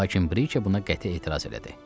Lakin Brike buna qəti etiraz elədi.